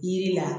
Yiri la